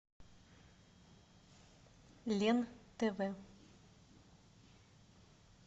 лен тв